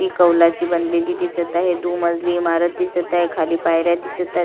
कवलाची बनलेली दिसत आहे दु मजली इमारत दिसत आहे खाली पायऱ्या दिसतायत.